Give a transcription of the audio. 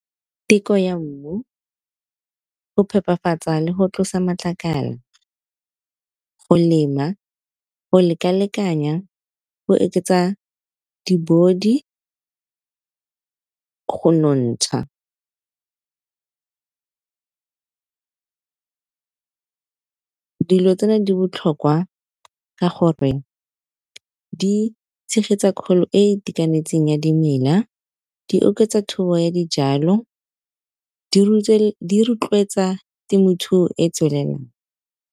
Teko ya mmu go phepafatsa le go tlosa matlakala, go lema go lekalekanya go di-body go nontsha. Dilo tsena di botlhokwa ka gore di tshegetsa kgolo e e itekanetseng ya dimela, di oketsa thobo ya dijalo di rotloetsa temothuo e e tswelelang.